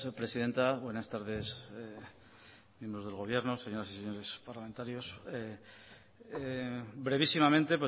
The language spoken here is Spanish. presidenta buenas tardes miembros del gobierno señoras y señores parlamentarios brevísimamente